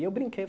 E eu brinquei.